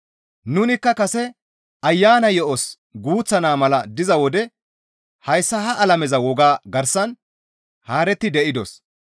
Nunikka kase Ayana yo7os guuththa naa mala diza wode hayssa ha alameza wogaa garsan haaretti de7idos.